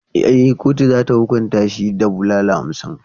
E, kotu za ta hukunta shi da bulala hamsin.